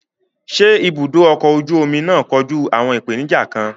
Ṣé ibùdó ọkọ̀ ojú omi náà kojú àwọn ìpèníjà kan?